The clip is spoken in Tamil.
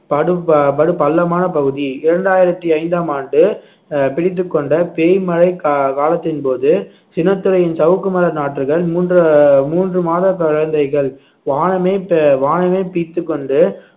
படு ப~ படு பள்ளமான பகுதி இரண்டாயிரத்தி ஐந்தாம் ஆண்டு அஹ் பிடித்துக்கொண்ட பேய்மழை கா~ காலத்தின் போது சின்னத்துரையின் சாவுக்கு மர நாற்றுகள் மூன்று மூன்று மாத குழந்தைகள் வானமே ப~ வானமே பீய்த்துக் கொண்டு